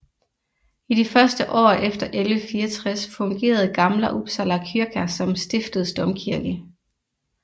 I de første år efter 1164 fungerede Gamla Uppsala kyrka som stiftets domkirke